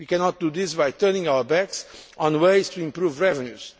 We cannot do this by turning our backs on ways to improve revenues.